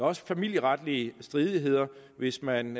også familieretlige stridigheder hvis man